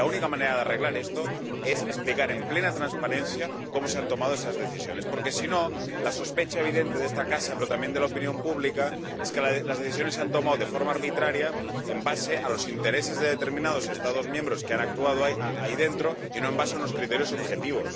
La única manera de arreglar esto es explicar con plena transparencia cómo se han tomado esas decisiones, porque, si no, la sospecha evidente de esta casa, pero también de la opinión pública, es que las decisiones se han tomado de forma arbitraria basándose en los intereses de determinados Estados miembros que han actuado ahí dentro y no basándose en criterios objetivos.